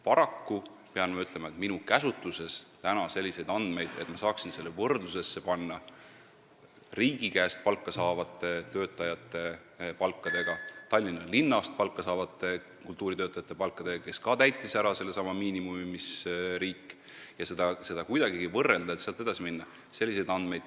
Paraku pean ma ütlema, et minu käsutuses täna ei ole selliseid andmeid, et ma saaksin neid palku võrdlusesse panna riigi käest palka saavate kultuuritöötajate palkade ja Tallinna linnast palka saavate kultuuritöötajate palkadega ning sealt edasi minna.